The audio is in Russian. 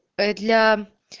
ээ для